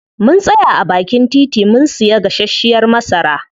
Mun tsaya a baakin titi mun siya gasashiyar masara.